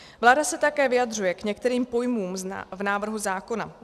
Vláda se také vyjadřuje k některým pojmům v návrhu zákona.